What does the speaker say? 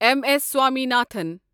M S Swaminathan